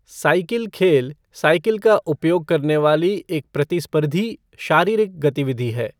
Cycle खेल cycle का उपयोग करने वाली एक प्रतिस्पर्धी शारीरिक गतिविधि है।